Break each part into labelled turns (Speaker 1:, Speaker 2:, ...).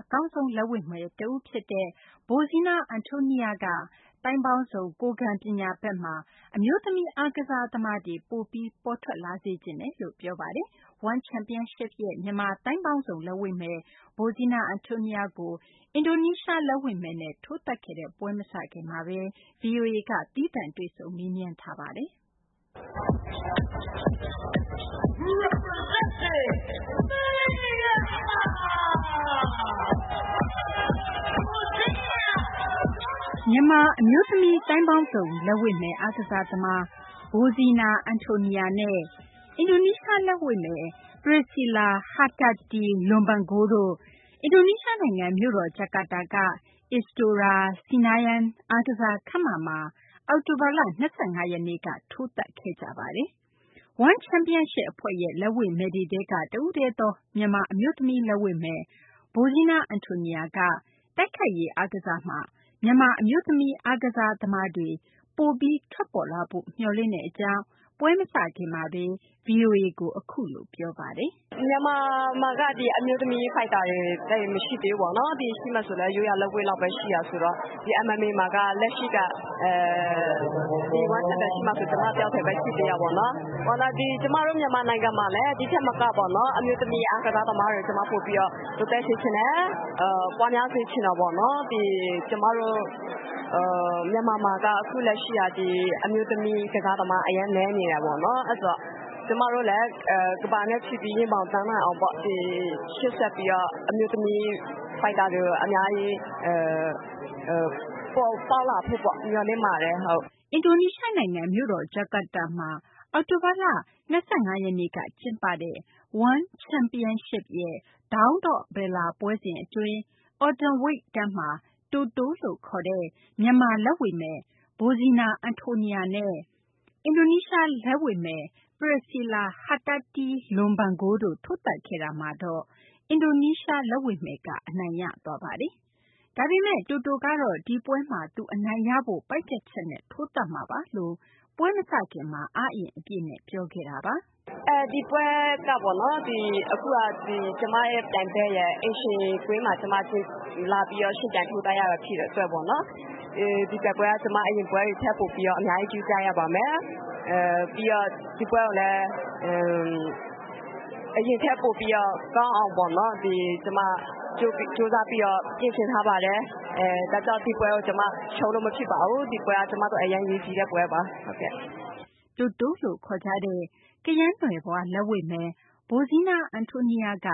Speaker 1: အကောင်းဆုံး လက်ဝှေ့မယ်တဦး ဖြစ်တဲ့ Bozhena Antoniyar က သိုင်းပေါင်းစုံ ကိုယ်ခံပညာ ဘက်မှာ အမျိုးသမီး အားကစား သမားတွေ ပိုပြီး ပေါ်ထွက်လာစေချင်တယ်လို့ ပြောပါတယ်။ One Championship ရဲ့ မြန်မာ သိုင်းပေါင်းစုံ လက်ဝှေ့မယ် Bozhena Antoniyar ကို အင်ဒိုနီးရှား လက်ဝှေ့မယ်နဲ့ ထိုးသတ်ခဲ့တဲ့ ပွဲမစခင်မှာဘဲ ဗွီအိုအေက တွေ့ဆုံမေးမြန်းခဲ့ပါတယ်။ မသိင်္ဂ ီထိုက်က တင်ပြထားပါတယ်။ မြန်မာ အမျိုးသမီး သိုင်းပေါင်းစုံ လက်ဝှေ့မယ် အားကစား သမား Bozhena Antoniyar နဲ့ အင်ဒိုနီးရှား လက်ဝှေ့မယ် Priscilla Hertati Lumban Gaol တို့ အင်ဒိုနီးရှား နိုင်ငံ မြို့တော် ဂျာကာတာက Istora Senayan အားကစား ခန်းမမှာ အောက်တိုဘာလ ၂၅ ရက်နေ့က ထိုးသတ်ခဲ့ကြတာပါ။ One Championship အဖွဲ့ရဲ့ လက်ဝှေ့မယ်တွေထဲက တဦးတည်းသော မြန်မာ အမျိုးသမီး လက်ဝှေ့မယ် Bozhena Antoniyar က တိုက်ခိုက်ရေး အားကစားမှာ မြန်မာ အမျိုးသမီး အားကစား သမားတွေ ပိုပြီး ထွက်ပေါ်လာဖို့ မျှော်လင့်တဲ့ အကြောင်း ပွဲမစခင်မှာဘဲ ဗွီအိုအေကို အခုလို ပြောဆိုခဲ့တာ
Speaker 2: ပါ။ “မြန်မာမှာက အမျိုးသမီး ဖိုက်တာတွေ သိပ်မရှိသေးဘူး။ ရှိမယ်ဆိုရင်လည်း ရိုးရာလက်ဝှေ့လောက်ပဲ ရှိတာဆိုတော့ ဒီ MMA မှာက လက်ရှိက ဒီ Championship မှာဆိုရင် ကျမတယောက်တည်းပဲ ရှိသေးတာပေါ့နော်။ ကျမတို့ မြန်မာနိုင်ငံမှာလည်း ဒီထက်မက အမျိုးသမီး အားကစားသမားတွေကို ဒီထက်ပိုပြီး တိုးတက်စေချင်တယ်။ ပွားများစေချင်တာပေါ့နော်။ ကျမတို့ မြန်မာမှာက အခုလက်ရှိက ဒီ အမျိုးသမီး ကစားသမား အရမ်းနည်းနေတယ်ပေါ့နော်။ အဲဒါကြောင့် ကျမတို့လည်း ကမ္ဘာနဲ့ ချီပြီး ရင်ဘောင်တန်းနိုင်အောင် ရှေ့ဆက်ပြီးတော့ အမျိုးသမီး ဖိုက်တာတွေကို အများကြီး ပေါ်ပေါက်လာဖို့ မျှော်လင့်ပါတ
Speaker 1: ယ်။” အင်ဒိုနီးရှား နိုင်ငံ မြို့တော် ဂျာကာတာမှာ အောက်တိုဘာလ ၂၅ နေ့က ကျင်းပတဲ့ One Championship ရဲ့ Dawn of Valor ပွဲစဉ် အတွင်း Atomweight တန်းမှာ တိုတို လို့ခေါ်တဲ့ မြန်မာ လက်ဝှေ့မယ် Bozhena Antoniyar နဲ့ အင်ဒိုနီးရှား လက်ဝှေ့မယ် Priscilla Hertati Lumban Gaol တို့ ထိုးသတ်ခဲ့တာမှာတော့ အင်ဒိုနီးရှား လက်ဝှေ့မယ် ဗိုလ်စွဲသွားပါတယ်။ ဒါပေမယ့် တိုတို ကတော့ ဒီပွဲမှာ သူအနိုင်ရဖို့ ပိုင်းဖြတ်ချက်နဲ့ ထိုးသတ်မှာ ဖြစ်တယ်လို့ ပွဲမစခင်မှာ အားအင် အပြည့်နဲ့ ပြောခဲ့ပါတယ်။ “ဒ
Speaker 2: ီပွဲက အခုက ကျမရဲ့ ပြိုင်ဘက်ရဲ့ အိမ်ရှင်ကွင်းမှာလာပြီးတော့ ယှဉ်ပြိုင်ထိုးသတ်ရတာဖြစ်တဲ့အတွက် ဒီပွဲက အရင်ပွဲတွေထက်ပိုပြီးတော့ အများကြီး ဂရုစိုက်ရပါမယ်။ ပြီးတော့ ဒီပွဲကိုလည်း အရင်ထက်ပိုပြီးတော့ ကောင်းအောင်ပေါ့နော် ကျမကြိုးစားပြီးတော့ ပြင်ဆင်ထားပါတယ်။ ဒါကြောင့် ဒီပွဲကို ကျမ ရှုံးလို့မဖြစ်ပါဘူး ဒီပွဲက ကျမအတွက် အရမ်းအရေးကြီးတဲ့ ပွဲပါ။
Speaker 1: ” တိုတို လို့ ခေါ်ကြတဲ့ ကယန်းနွယ်ဖွား လက်ဝှေ့မယ် Bozhena Antoniyar က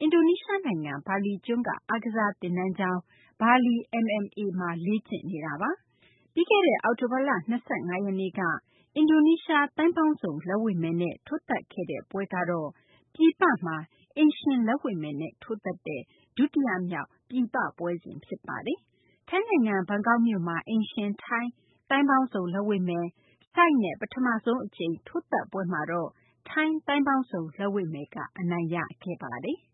Speaker 1: အင်ဒိုနီးရှား နိုင်ငံ ဘာလီကျွန်းက အားကစားသင်တန်းကျောင်း Bali MMA မှာ လေ့ကျင့်နေတာပါ။ ပြီးခဲ့တဲ့ အောက်တိုဘာလ ၂၅ ရက်နေ့က အင်ဒိုနီးရှား သိုင်းပေါင်းစုံ လက်ဝှေ့မယ်နဲ့ ထိုးသတ်ခဲ့တဲ့ ပွဲ့ ပြည်ပမှာ အိမ်ရှင် လက်ဝှေ့မယ်နဲ့ ထိုးသတ်တဲ့ ဒုတိယ မြောက် ပွဲ ဖြစ်ပါတယ်။ ထိုင်းနိုင်ငံ ဘန်ကောက် မြို့မှာလည်း အိမ်ရှင် ထိုင်း သိုင်းပေါင်းစုံ လက်ဝှေ့မယ် Ishige နဲ့ ပထမဆုံး အကြိမ် ထိုးသတ်ပွဲမှာတော့ ထိုင်း သိုင်းပေါင်းစုံ လက်ဝှေ့မယ်က အနိုင်ရခဲ့ပါတယ်။